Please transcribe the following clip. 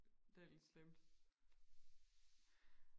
det er lidt slemt